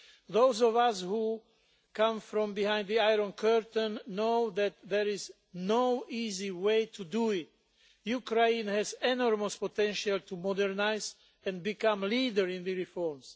Those of us who come from behind the Iron Curtain know that there is no easy way to do it. Ukraine has enormous potential to modernise and become a leader in the reforms.